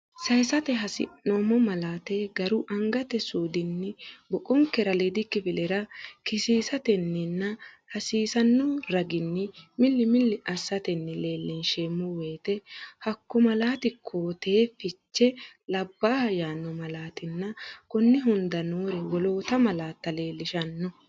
sayisate hasi’noommo malaate garu angate suudinni boqon- kera aliidi kifilera kisiisatenninna hasiisanno raginni milli milli assatenni leellinsheemmo woyite hakko malaati koo-teete fiche labbaaha yaanno malaatinna konni hunda noore woloota malaatta leellishanno.